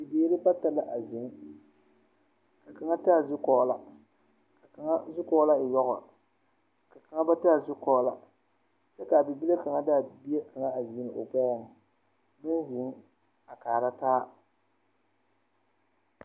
Bibiiri bata la a zeŋ ka kaŋa taa zukɔɔloŋ ka kaŋa zukɔɔloŋ e yɔŋɔ ka kaŋa ba taa zukɔɔlɔ kyɛ kaa bibile kaŋ de a bibile kaŋ segle o gbɛɛŋ ba zeŋ a kaara taa